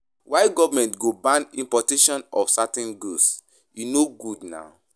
Why government go ban importation of certain goods. E no good na.